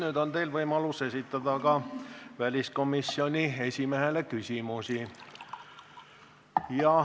Nüüd on teil võimalus esitada väliskomisjoni esimehele küsimusi.